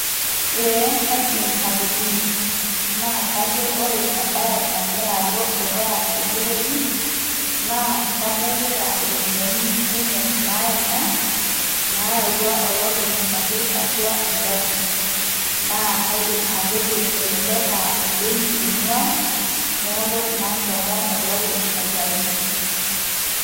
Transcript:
ee kaidim atolimu naa kajo ore ebae nagira alo dukuya tenewueji, naa kadolita iropiyiani, kumok naayena. naayawua olopeny apik atua egari, naa kaidim atejo elelek aa ebenki ing'uaa, neeku naa ehomo olopeny aitayu.